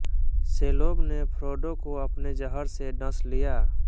Shelob ने Frodo को अपने ज़हर से डँस लिया